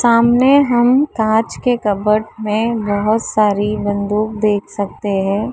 सामने हम कांच के कवड में बहोत सारी बंदूक देख सकते हैं।